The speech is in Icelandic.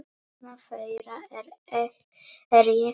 Vegna þeirra er ég ríkari.